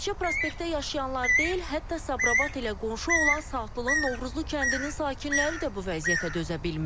Təkcə o prospektdə yaşayanlar deyil, hətta Sabirabad ilə qonşu olan Saatlının Novruzlu kəndinin sakinləri də bu vəziyyətə dözə bilmir.